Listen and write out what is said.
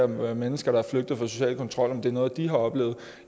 med mennesker der er flygtet fra social kontrol om det er noget de har oplevet